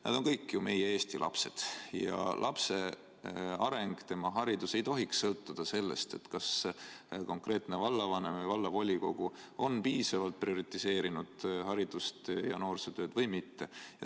Need on kõik ju meie Eesti lapsed ja lapse areng, tema haridus ei tohiks sõltuda sellest, kas konkreetne vallavanem või vallavolikogu on piisavalt prioritiseerinud haridust ja noorsootööd või mitte.